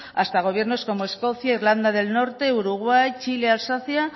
hasta gobiernos como escocia irlanda del norte uruguay chile alsacia